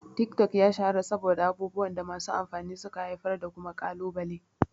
Tik-tok ya shahara saboda abubuwan da masu amfani suka haifar da kuma kalubale.